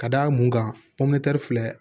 Ka d'a mun kan mɔntɛri filɛ